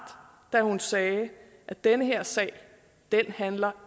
da hun sagde at den her sag ikke handler